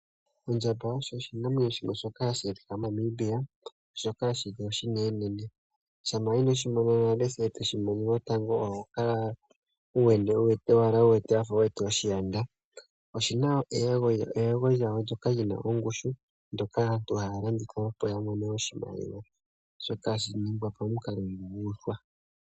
Ondjamba osho oshinamwenyo shimwe shoka hashi adhika moNamibia shoka shili oshinenenene. Shampa inoshi mona nale e toshi mono lotango oho kala owala wafa wu wete oshiyanda. Oshina eyego lyayo ndoka lina ongushu, ndoka aantu haya landitha opo ya mone oshimaliwa. Shoka hashi ningwa pamukalo guuthwa.